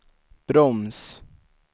broms